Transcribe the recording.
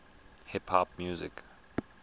hip hop music